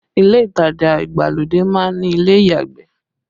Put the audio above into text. Ile itaja ìgbàlódé má ń ní ilé ìyàgbẹ̀